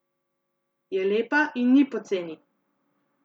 Je lepa in ni poceni!